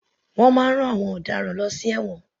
Wọ́n máa ń rán àwọn ọ̀daràn lọ sí ẹ̀wọ̀n.